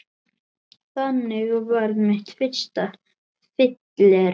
Þannig varð mitt fyrsta fyllerí